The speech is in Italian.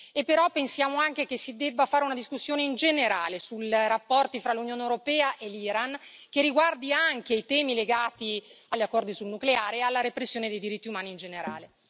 e però pensiamo anche che si debba fare una discussione in generale sui rapporti fra l'Unione europea e l'Iran che riguardi anche i temi legati agli accordi sul nucleare e alla repressione dei diritti umani in generale.